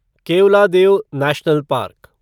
Keoladeo national park